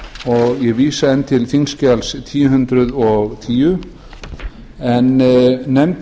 og ég vísa enn til þingskjals þúsund og tíu en